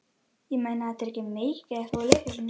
Ég meina, þetta er ekki meik eða eitthvað úr leikhúsinu?